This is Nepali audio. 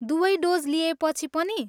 दुवै डोज लिएपछि पनि?